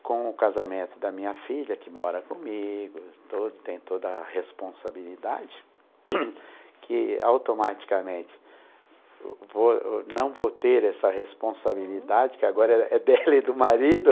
com o casamento da minha filha, que mora comigo, toda tem toda a responsabilidade, que automaticamente vou não vou ter essa responsabilidade, que agora é dela e do marido.